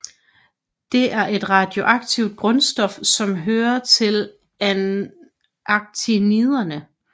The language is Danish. Det er et radioaktivt grundstof som hører til actiniderne